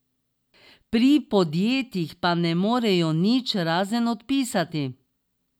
Pri podjetjih pa ne morejo nič, razen odpisati.